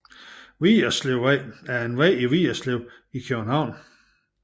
Vigerslevvej er en vej i Vigerslev i København